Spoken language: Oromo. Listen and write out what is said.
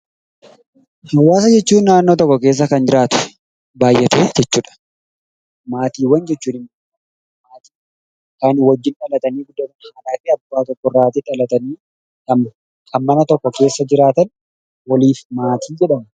Hawwaasa jechuun naannoo tokko keessa kan jiraatu baay'atee jechuudha. Maatiiwwan jechuun immoo kan wajjin dhalatanii kan mana tokko keessa jiraatan waliif maatii jedhamu.